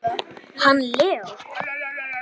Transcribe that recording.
Hann Leó?